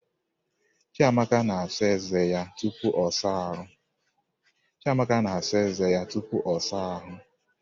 Chiamaka na-asa eze ya tupu ọ saa ahụ.